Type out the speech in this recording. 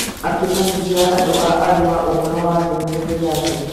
akĩmenyithia andũ a Arua ũhoro wa ndũmĩrĩri yake